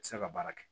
Tɛ se ka baara kɛ